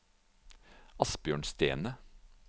Asbjørn Stene